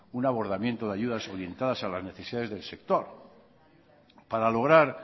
una abordamiento de ayudas orientadas a las necesidades del sector para lograr